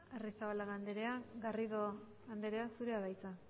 arrizabalaga andrea garrido andrea zurea da hitza